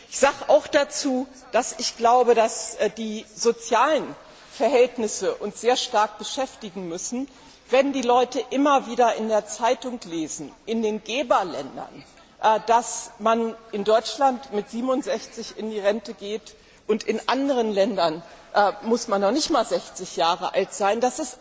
Ich sage auch dazu, dass ich glaube, dass die sozialen Verhältnisse uns sehr stark beschäftigen müssen, wenn die Leute immer wieder in den Geberländern in der Zeitung lesen, dass man in Deutschland mit 67 in die Rente geht, und in anderen Ländern muss man noch nicht einmal 60 Jahre alt sein.